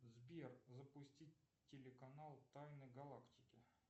сбер запустить телеканал тайны галактики